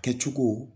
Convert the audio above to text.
Kɛ cogo